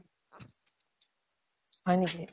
হয় নেকি ?